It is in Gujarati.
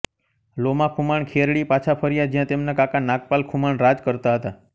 લોમા ખુમાણ ખેરડી પાછા ફર્યા જ્યાં તેમના કાકા નાગપાલ ખુમાણ રાજ કરતા હતા